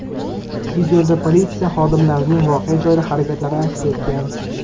Videoda politsiya xodimlarining voqea joyida harakatlari aks etgan.